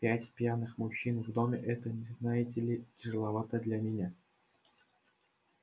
пять пьяных мужчин в доме это не знаете ли тяжеловато для меня